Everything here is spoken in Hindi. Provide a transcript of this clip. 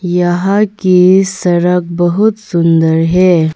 यहां की सड़क बहुत सुन्दर है।